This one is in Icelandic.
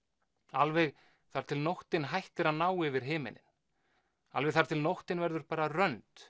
alveg þar til nóttin hættir að ná yfir himininn alveg þar til nóttin verður bara rönd